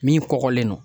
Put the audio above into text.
Min kɔkɔlen don